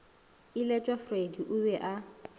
iletšwa freddie o be a